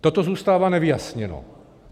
Toto zůstává nevyjasněno.